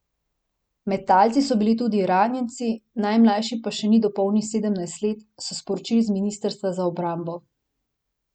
Med talci so bili tudi ranjenci, najmlajši pa še ni dopolnil sedemnajst let, so sporočili z ministrstva za obrambo.